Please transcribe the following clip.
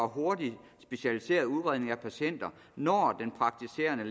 hurtig specialiseret udredning af patienter når den praktiserende